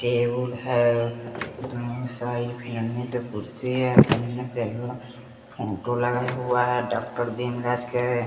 Table है दोनो side कुर्सी है फोटो लगा हुआ हैं डॉक्टर भीम राज का है।